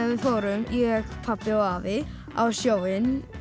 við fórum ég pabbi og afi á sjóinn